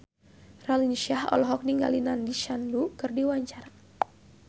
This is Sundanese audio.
Raline Shah olohok ningali Nandish Sandhu keur diwawancara